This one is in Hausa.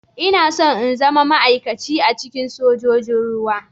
Ina so in zama ma'aikaci a cikin sojojin ruwa.